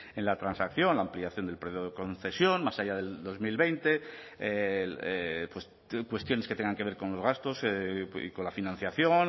en la transacción la ampliación del periodo de concesión más allá del dos mil veinte pues cuestiones que tengan que ver con los gastos y con la financiación